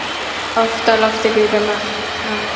Oft á lofti grípum hann.